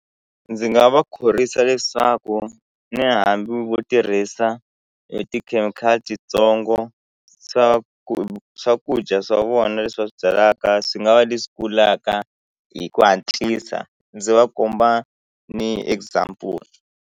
Ndzi nga va khorwisa leswaku ni hambi vo tirhisa e tikhemikhali titsongo swa ku swakudya swa vona leswi va swi byalaka swi nga va leswi kulaka hi ku hatlisa ndzi va komba ni example.